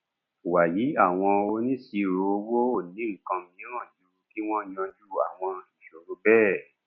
wàyí àwọn onisiroowo ò ní nǹkan mìíràn ju kí wọn yanjú àwọn ìṣòro bẹẹ